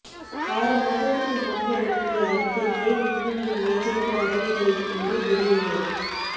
ஆறு மாதத்துக்கு முன்பு அனுப்பிய அறிக்கை ஏன் இன்னும் என் மேஜைக்கு வரவில்லை என்று தெரியவில்லை